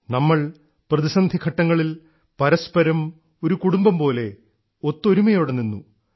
നമ്മൾ പ്രതിസന്ധിഘട്ടങ്ങളിൽ പരസ്പരം ഒരു കുടുംബംപോലെ ഒത്തൊരുമയോടെനിന്നു